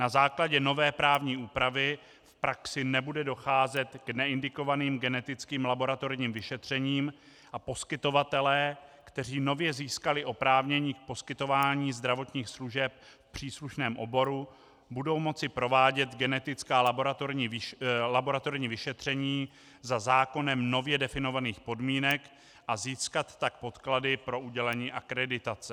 Na základě nové právní úpravy v praxi nebude docházet k neindikovaným genetickým laboratorním vyšetřením a poskytovatelé, kteří nově získali oprávnění k poskytování zdravotních služeb v příslušném oboru, budou moci provádět genetická laboratorní vyšetření za zákonem nově definovaných podmínek a získat tak podklady pro udělení akreditace.